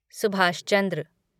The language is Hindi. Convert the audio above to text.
सुभाष चंद्र